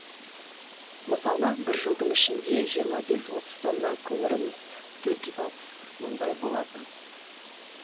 мысалы бір жылдың ішінде жиырма бес отыз тонна көміріміз төрт жүз алпыс мыңдай болатын